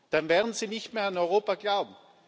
werden, dann werden sie nicht mehr an Europa glauben.